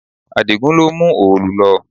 Adigun ló mú òòlù lọ